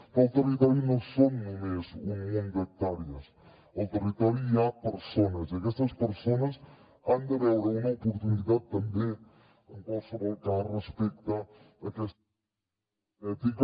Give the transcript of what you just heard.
però el territori no són només un munt d’hectàrees al territori hi ha persones i aquestes persones han de veure una oportunitat també en qualsevol cas respecte a aquesta transició energètica